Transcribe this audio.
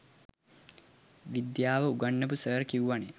විද්දියාව උගන්නපු සර් කිව්වනෙ.